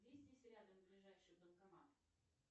где здесь рядом ближайший банкомат